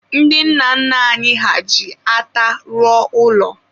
ndị nna nna anyị ha ji ata rụọ ụlọ.